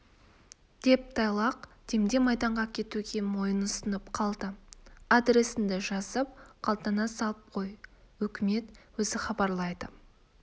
деп тайлақ демде майданға кетуге мойын ұсынып қалды адресіңді жазып қалтаңа салып қой өкімет өзі хабарлайды